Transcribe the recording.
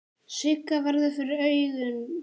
Sigga verður fyrir augum hans.